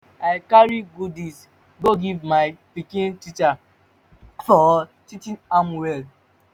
i carry goodies go give my pikin teacher for teaching am well